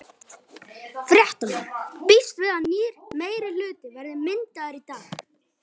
Fréttamaður: Býstu við að nýr meirihluti verði myndaður í dag?